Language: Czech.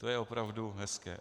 To je opravdu hezké.